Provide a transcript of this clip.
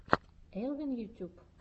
элвин ютюб